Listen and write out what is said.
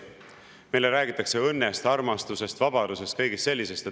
Meile räägitakse õnnest, armastusest, vabadusest, kõigest sellisest.